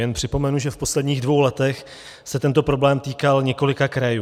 Jen připomenu, že v posledních dvou letech se tento problém týkal několika krajů.